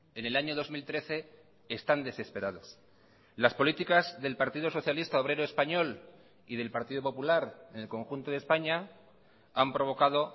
en el año dos mil trece están desesperados las políticas del partido socialista obrero español y del partido popular en el conjunto de españa han provocado